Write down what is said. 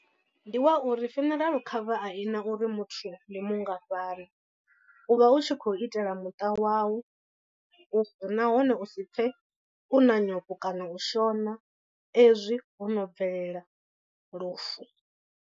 Ndi wa uri funeral cover a ina uri muthu ndi mungafhani, u vha u tshi khou itela muṱa wau u nahone u si pfe u na nyofho kana u shona ezwi ho no bvelela lufu.